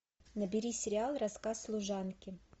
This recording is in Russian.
набери сериал рассказ служанки